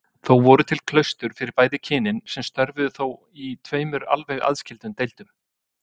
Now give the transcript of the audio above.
Þó voru til klaustur fyrir bæði kynin sem störfuðu þó í tveimur alveg aðskildum deildum.